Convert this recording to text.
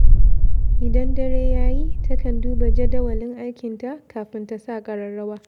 Idan dare ya yi, ta kan duba jadawalin aikinta kafin ta sa ƙararrawa.